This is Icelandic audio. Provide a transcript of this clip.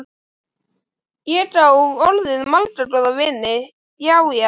Ég á orðið marga góða vini, já, já.